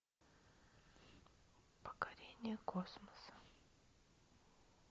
покорение космоса